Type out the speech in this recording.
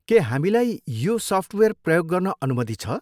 के हामीलाई यो सफ्टवेयर प्रयोग गर्न अनुमति छ?